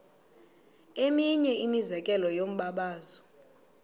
eminye imizekelo yombabazo